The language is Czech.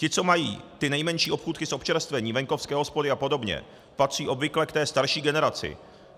Ti, co mají ty nejmenší obchůdky s občerstvením, venkovské hospody a podobně, patří obvykle k té starší generaci.